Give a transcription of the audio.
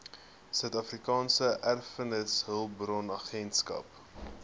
suidafrikaanse erfenishulpbronagentskap saeha